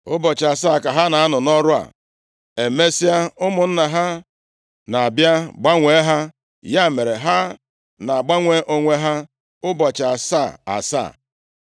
Ụbọchị asaa ka ha na-anọ nʼọrụ a. Emesịa, ụmụnna ha na-abịa gbanwee ha. Ya mere, ha na-agbanwe onwe ha ụbọchị asaa asaa.